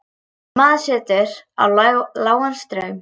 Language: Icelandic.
Maður setur á lágan straum.